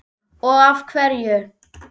og af hverju?